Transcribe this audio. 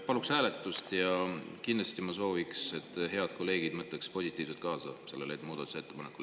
Paluksin hääletust ja kindlasti ma sooviksin, et head kolleegid mõtleks positiivselt kaasa sellele muudatusettepanekule.